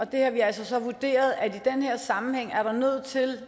der har vi altså så vurderet at der i den her sammenhæng er nødt til